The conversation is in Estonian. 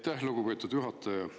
Aitäh, lugupeetud juhataja!